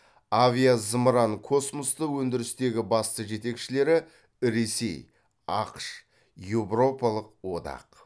авиа зымыран космосты өндірістегі басты жетекшілері ресей ақш еуропалық одақ